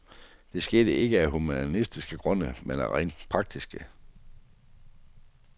Det skete ikke af humanistiske grunde, men af rent praktiske.